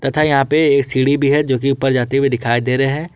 तथा यहां पे सीढ़ी भी है जोकि ऊपर जाते हुए दिखाई दे रहे हैं।